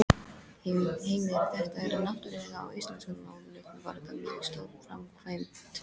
Heimir: Þetta er náttúrulega á íslenskan mælikvarða mjög stór framkvæmd?